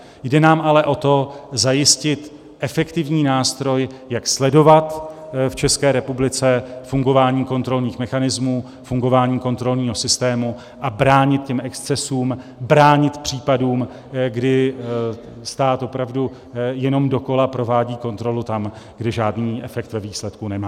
Jde nám ale o to zajistit efektivní nástroj, jak sledovat v České republice fungování kontrolních mechanismů, fungování kontrolního systému a bránit těm excesům, bránit případům, kdy stát opravdu jenom dokola provádí kontrolu tam, kde žádný efekt ve výsledku nemá.